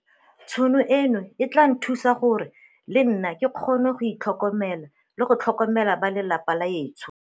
Tšhono eno e tla nthusa gore le nna ke kgone go itlhokomela le go tlhokomela ba lapa la etsho.